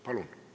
Palun!